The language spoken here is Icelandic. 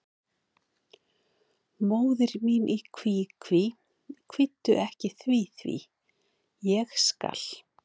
Móðir mín í kví, kví, kvíddu ekki því, því, ég skal.